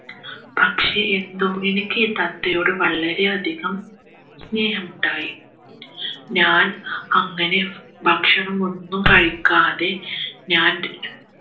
പക്ഷേ എന്തോ എനിക്ക് ഈ തത്തയോട് വളരെയധികം സ്നേഹമുണ്ടായി ഞാൻ അങ്ങനെ ഭക്ഷണം ഒന്നും കഴിക്കാതെ ഞാൻ